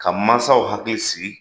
Ka mansaw hakili sigi